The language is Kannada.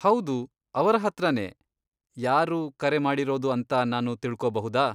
ಹೌದು, ಅವರ ಹತ್ರನೇ. ಯಾರು ಕರೆ ಮಾಡಿರೋದು ಅಂತ ನಾನು ತಿಳ್ಕೊಬಹುದಾ?